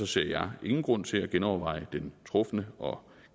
ser jeg ingen grund til at genoverveje den trufne og